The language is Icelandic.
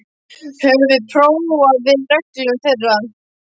Höfum við hróflað við reglum þeirra?